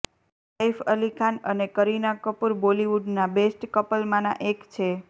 સૈફ અલી ખાન અને કરીના કપૂર બોલીવુડના બેસ્ટ કપલમાંના એક છે